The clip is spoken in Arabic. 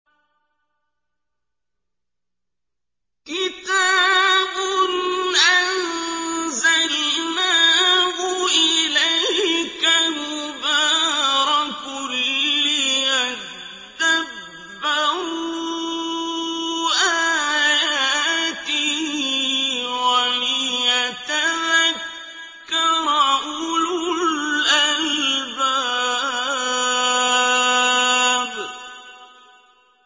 كِتَابٌ أَنزَلْنَاهُ إِلَيْكَ مُبَارَكٌ لِّيَدَّبَّرُوا آيَاتِهِ وَلِيَتَذَكَّرَ أُولُو الْأَلْبَابِ